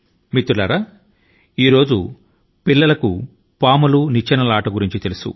మిత్రులారా ఈ రోజు ప్రతి చిన్నారి కి స్నేక్ అండ్ లాడర్ ఆట ను గురించి తెలుసును